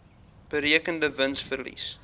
berekende wins verlies